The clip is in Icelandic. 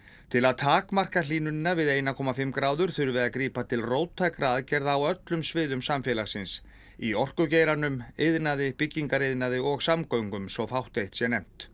til að takmarka hlýnunina við eitt komma fimm gráður þurfi að grípa til róttækra aðgerða á öllum sviðum samfélagsins í orkugeiranum iðnaði byggingariðnaði og samgöngum svo fátt eitt sé nefnt